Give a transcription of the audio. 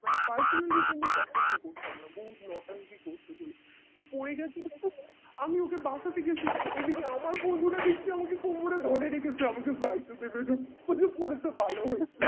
মানে personally ওকে আমি পছন্দ করতাম না বহুত নোট্যাংকি করতো বলে পরে আমি ওকে বাঁচাতে গেছি এদিকে আমার বন্ধুরা দেখছি আমাকে কোমরে ধরে রেখেছে আমাকে যাইতে দেবে না বলছে পড়েছে ভালো হয়েছে